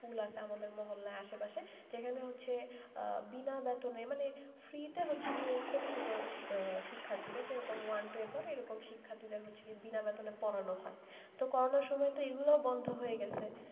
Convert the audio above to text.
school আছে আমাদের মহল্লার আশেপাশে যেখানে বিনা বেতনে মানে free তে ছোট ছোট শিক্ষার্থীদের যেরকম one two এ পরে এরকম শিক্ষার্থীদের বিনা বেতনে পড়ানো হয়তো করোনা সময়গুলো এগুলো বন্ধ হয়ে গেছে,